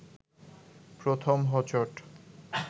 প্রথম হোঁচট